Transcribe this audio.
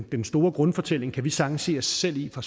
den store grundfortælling kan vi sagtens se os selv i fra